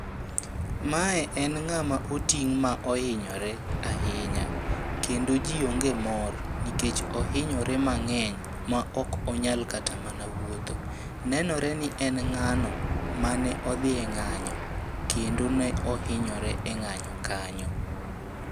Mae en ng'ama oting' ma ohinyore ahinya, kendo ji onge mor nikech ohinyore mang'eny ma ok onyal kata mana wuotho. Nenore ni en ng'ano mane odhi e ng'anyo, kendo ne ohinyore e ng'anyo kanyo.